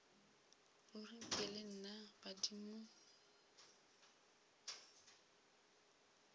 ruri nke le nna badimo